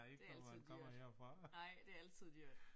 Det altid dyrt. Nej det altid dyrt